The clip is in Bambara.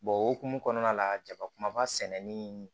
o hokumu kɔnɔna la jabakumaba sɛnɛni